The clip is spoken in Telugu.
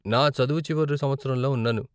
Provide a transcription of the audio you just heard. నా చదువు చివరి సంవత్సరంలో ఉన్నాను.